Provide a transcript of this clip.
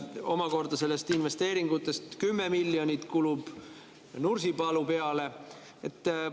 Ja omakorda nendest investeeringutest 10 miljonit kulub Nursipalu peale.